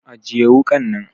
Ajiye wukan nan!